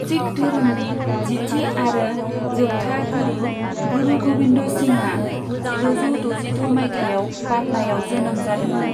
सिख धोरोमनि जिथि आरो जोबथा गुरु, गुरु गबिन्द सिंहआ, जिद'जौ द'जिद' मायथाइयाव पाटनायाव जोनोम जादोंमोन।